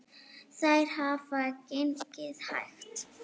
Þær hafa gengið hægt